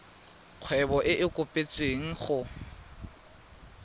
kgwebo e e kopetswengcc go